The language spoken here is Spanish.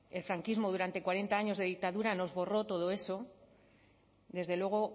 el franquismo durante cuarenta años de dictadura nos borró todo eso desde luego